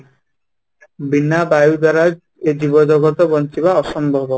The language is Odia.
ବିନା ବାୟୁ ଦ୍ୱାରା ଏ ଜୀବ ଜଗତ ବଞ୍ଚିବା ଅସମ୍ଭବ